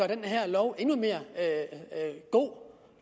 den her lov endnu bedre